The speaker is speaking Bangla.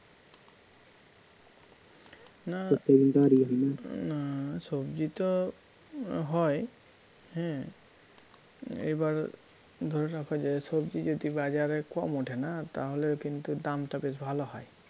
না সবজি তো হয় হ্যাঁ এবার ধরে রাখো যে সবজি যদি বাজারে কম ওঠে না তাহলে কিন্তু দামটা বেশ ভালো হয়